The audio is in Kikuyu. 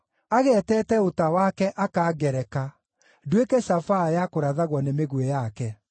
Ageetete ũta wake, akangereka, nduĩke cabaa ya kũrathagwo nĩ mĩguĩ yake.